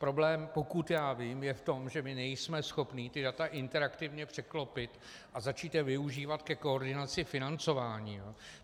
Problém, pokud já vím, je v tom, že my nejsme schopni ta data interaktivně překlopit a začít je využívat ke koordinaci financování.